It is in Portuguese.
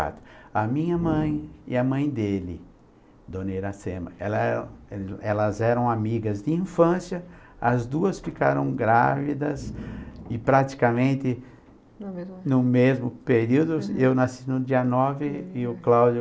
A minha mãe e a mãe dele, Dona Iracema, ela elas eram amigas de infância, as duas ficaram grávidas e praticamente no mesmo no mesmo período, eu nasci no dia nove e o Cláudio...